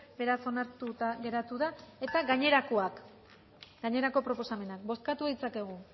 beraz onartuta geratu da eta gainerakoak gainerako proposamenak bozkatu ditzakegu